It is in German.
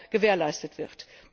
gewährleistet wird.